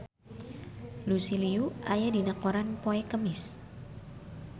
Lucy Liu aya dina koran poe Kemis